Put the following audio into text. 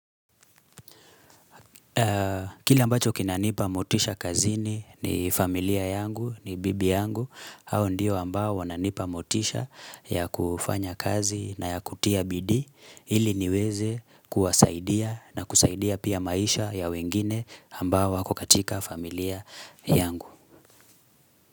Kili ambacho kinanipa motisha kazini ni familia yangu ni bibi yangu hao ndiyo ambao wananipa motisha ya kufanya kazi na ya kutia bidi ili niweze kuwasaidia na kusaidia pia maisha ya wengine ambao wako katika familia yangu.